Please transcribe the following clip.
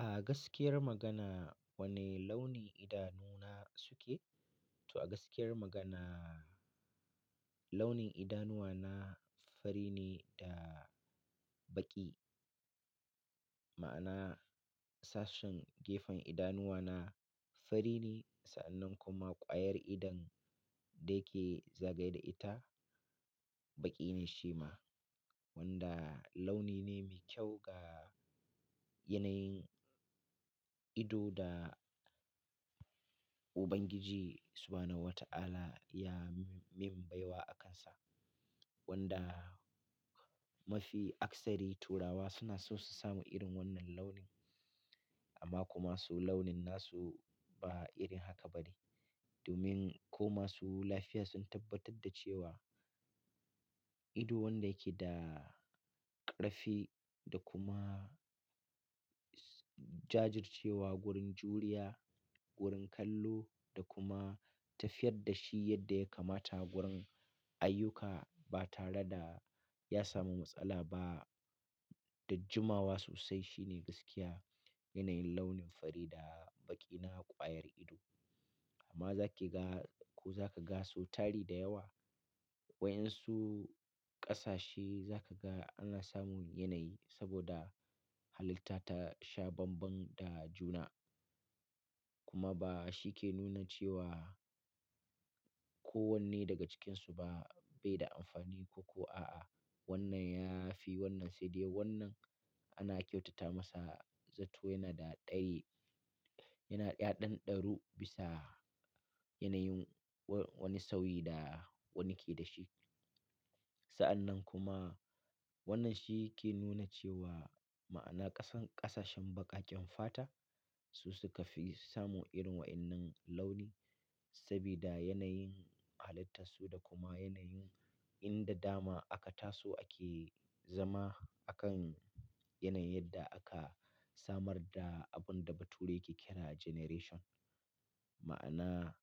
A gaskiyar magana wane launin idanu na suke? To a gaskiyar magana launin idanuwa na fari ne da baƙi. Ma'ana sashen gefen idanuwa na fari ne sa'annan kuma ƙwayar idon da yake zagaye da ita baƙi ne shi ma wanda launi ne mai kyau ga yanayin ido da Ubangiji subahanahu wata ala ya mim baiwa akansa. Wanda mafi akasari turawa suna so su samu irin wannan launin amma kuma su launin nasu ba irin haka ba ne. Domin ko masu lafiya sun tabbatar da cewa ido wanda yake da ƙarfi da kuma jajircewa gurin juriya, gurin kallo da kuma tafiyar da shi yadda ya kamata gurin ayyuka ba tare da ya samu matsala ba Da jummawa sosai shine gaskiya yanayin launin fari da baƙi na ƙwayar ido. Amma za ke ga ko za ka ga sau tari da yawa wai in su ƙasashe za ka ga ana samun yanayi saboda halitta ta sha bambam da juna. Kuma ba shi ke nuna cewa ko wanne daga cikinsu ba bai da amfani ko ko a'a wannan ya fi wannan sai dai wannan ana kyautata masa zato yana da ɗari yana ya ɗanɗa ɗaru bisa yanayin wani sauyi da wani ke da shi. Sa'annan kuma wannan shi ke nuna cewa ma'ana ƙasan ƙasashen baƙaƙen fata su suka fi samu irin waɗannan launi sabida yanayin halittarsu da kuma yanayin inda dama aka taso ake zama a kan yanayin yadda aka samar da abun da bature ke kira generation. Ma'ana